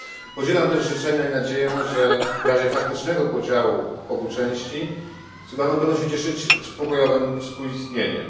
Podzielam też życzenia i nadzieję, że w razie faktycznego podziału obu części Sudanu, będą się one cieszyć pokojowym współistnieniem.